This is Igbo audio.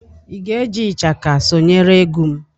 Ị ga-eji ishaka sonyere egwu m?